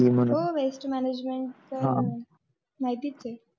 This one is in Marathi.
हो waste management तर माहितीच.